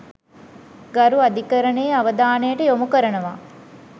ගරු අධිකරණයේ අවධානයට යොමු කරනවා.